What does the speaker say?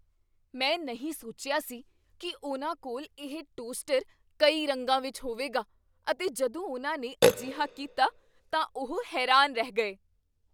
ਮੈਂ ਨਹੀਂ ਸੋਚਿਆ ਸੀ ਕੀ ਉਨ੍ਹਾਂ ਕੋਲ ਇਹ ਟੋਸਟਰ ਕਈ ਰੰਗਾਂ ਵਿੱਚ ਹੋਵੇਗਾ ਅਤੇ ਜਦੋਂ ਉਨ੍ਹਾਂ ਨੇ ਅਜਿਹਾ ਕੀਤਾ ਤਾਂ ਉਹ ਹੈਰਾਨ ਰਹਿ ਗਏ।